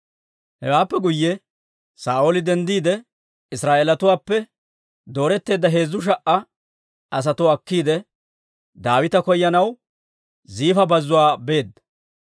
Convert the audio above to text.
Hewaappe guyye Saa'ooli denddiide, Israa'eelatuwaappe dooretteedda heezzu sha"a asatuwaa akkiide, Daawita koyanaw Ziifa bazzuwaa beedda.